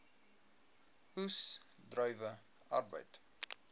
oes druiwe arbeid